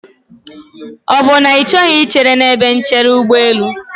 Ọ bụ na Ị chọghị ichere n'ebe nchere ụgbọelụ?